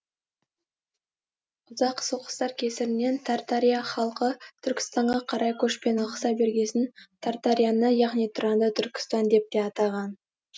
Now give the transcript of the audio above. ұзақ соғыстар кесірінен тартария халқы түркістанға қарай көшпен ығыса бергесін тартарияны яғни тұранды түркістан деп те атаған